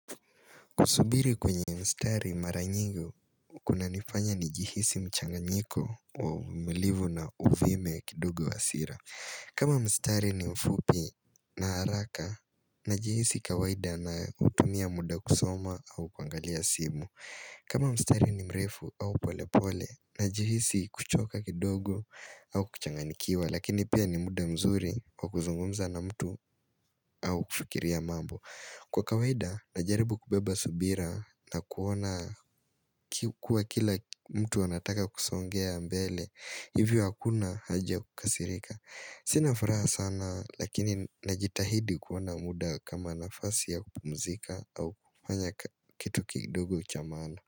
Kusubiri kwenye mstari mara nyingi, kunanifanya nijihisi mchanganyiko wa uvumilivu na uvime kidogo wa hasira. Kama mstari ni mfupi na haraka, najihisi kawaida nautumia muda kusoma au kuangalia simu. Kama mstari ni mrefu au pole pole, na jihisi kuchoka kidogo au kuchanganyikiwa, lakini pia ni muda mzuri wa kuzungumza na mtu au kufikiria mambo. Kwa kawaida najaribu kubeba subira na kuona kuwa kila mtu anataka kusongea mbele Hivyo hakuna haja kukasirika Sina furaha sana lakini najitahidi kuwa na muda kama nafasi ya kupumzika au kufanya kitu kidogo cha maana.